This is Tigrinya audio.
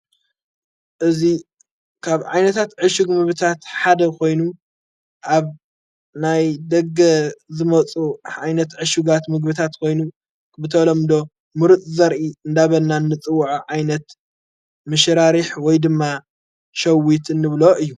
እዙ ካብ ዓይነታት ዕሹግ ምብታት ሓደ ኾይኑ ኣብ ናይ ደገ ዘመጹ ኣይነት ዕሹጋት ምግብታት ኮይኑ ብተሎምዶ ምሩጥ ዘርኢ እንዳበና ንጽውዖ ኣይነት ምሽራሪሕ ወይ ድማ ሸዊት ንብሎ እዩ።